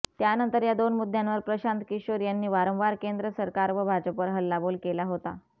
त्यानंतर या दोन मुद्यांवर प्रशांत किशोर यांनी वारंवार केंद्र सरकार व भाजपवर हल्लाबोल केला होता